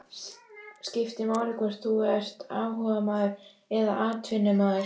Skiptir máli hvort þú ert áhugamaður eða atvinnumaður?